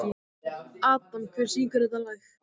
Adam, hver syngur þetta lag?